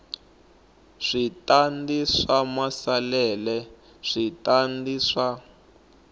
switandati swa maasesele switandati swa